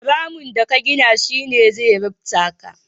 Ramin da ka gina shi ne zai rufta ka.